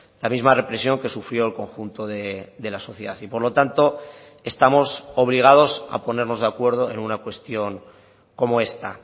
la misma represión que sufrió el conjunto de la sociedad y por lo tanto estamos obligados a ponernos de acuerdo en una cuestión como esta